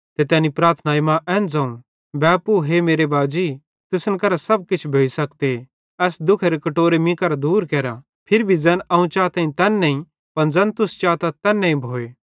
ते तैनी प्रार्थनाई मां एन ज़ोवं बैपू हे मेरे बाजी तुसन केरां सब किछ भोइ सकते एस दुख्खेरो कटोरो मीं केरां दूर केरा फिरी भी ज़ैन अवं चाताईं तैन नईं पन ज़ैन तुस चातथ तैन्ने भोए